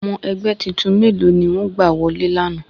Ọmọ ẹgbẹ́ titun mélòó ni wọ́n gbà wọlé lana?